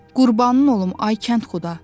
Qurbanın olum, ay kəndxuda.